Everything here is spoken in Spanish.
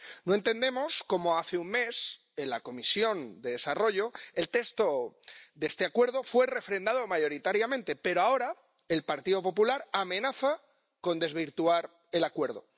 No entendemos cómo hace un mes, en la Comisión de Desarrollo, el texto de este acuerdo fue refrendado mayoritariamente, pero ahora el Grupo del Partido Popular amenaza con desvirtuar el acuerdo.